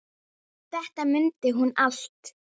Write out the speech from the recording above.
Þannig munum við hana.